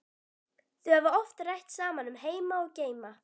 Þau hafa oft rætt saman um heima og geima.